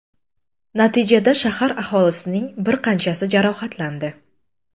Natijada shahar aholisining bir qanchasi jarohatlandi.